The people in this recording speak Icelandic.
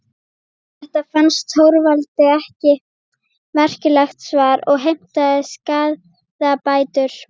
Þetta fannst Þorvaldi ekki merkilegt svar og heimtaði skaðabætur.